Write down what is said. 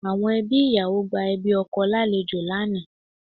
Àwọn ẹbí ìyàwó gba ẹbí ọkọ lálejò lánàá